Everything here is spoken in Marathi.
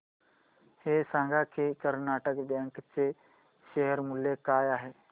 हे सांगा की कर्नाटक बँक चे शेअर मूल्य काय आहे